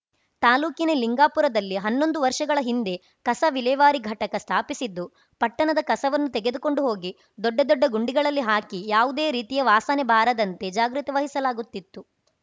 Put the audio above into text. ತಾಲೂಕಿನ ಲಿಂಗಾಪುರದಲ್ಲಿ ಹನ್ನೊಂದು ವರ್ಷಗಳ ಹಿಂದೆ ಕಸ ವಿಲೇವಾರಿ ಘಟಕ ಸ್ಥಾಪಿಸಿದ್ದು ಪಟ್ಟಣದ ಕಸವನ್ನು ತೆಗೆದುಕೊಂಡು ಹೋಗಿ ದೊಡ್ಡ ದೊಡ್ಡ ಗುಂಡಿಗಳಲ್ಲಿ ಹಾಕಿ ಯಾವುದೇ ರೀತಿಯ ವಾಸನೆ ಬಾರದಂತೆ ಜಾಗ್ರತೆ ವಹಿಸಲಾಗುತ್ತಿತ್ತು